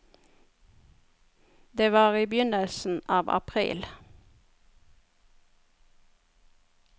Det var i begynnelsen av april.